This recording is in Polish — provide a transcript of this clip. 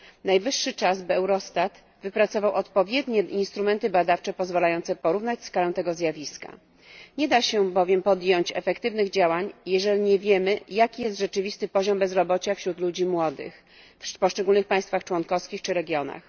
Najwyższy czas, by Eurostat wypracował odpowiednie instrumenty badawcze pozwalające porównać skalę tego zjawiska, nie da się bowiem podjąć efektywnych działań jeżeli nie wiemy jaki jest rzeczywisty poziom bezrobocia wśród ludzi młodych w poszczególnych państwach członkowskich czy regionach.